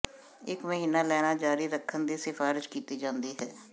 ਇਕ ਮਹੀਨਾ ਲੈਣਾ ਜਾਰੀ ਰੱਖਣ ਦੀ ਸਿਫਾਰਸ਼ ਕੀਤੀ ਜਾਂਦੀ ਹੈ